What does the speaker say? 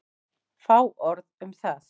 Fá orð um það.